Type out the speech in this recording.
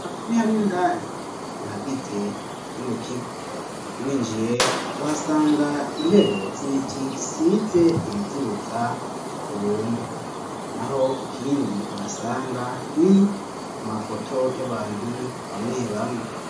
Aha nihamwe indani mu hagize kino kigo winjiye uhasanga intebe z'ibiti zisize ibizibuza ku bungwa naho ikindi uhasanga ni amafoto y'abantu bamwe bamwe